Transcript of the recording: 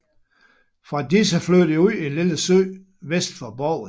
Fra disse flød det ud i en lille sø vest for Borgen